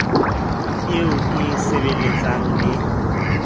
eo e e sebelletsang le